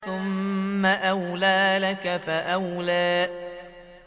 ثُمَّ أَوْلَىٰ لَكَ فَأَوْلَىٰ